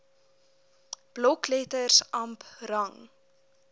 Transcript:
blokletters amp rang